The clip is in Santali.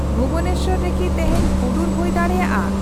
ᱵᱷᱩᱵᱚᱱᱮᱥᱥᱚᱨ ᱨᱮᱠᱤ ᱛᱮᱹᱦᱮᱹᱧ ᱦᱩᱰᱩᱨ ᱦᱳᱭ ᱫᱟᱲᱮᱹᱭᱟᱜᱼᱟ ?